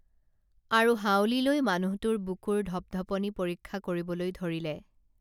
আৰু হাঁউলি লৈ মানুহটোৰ বুকুৰ ঢপঢপনি পৰীক্ষা কৰিবলৈ ধৰিলে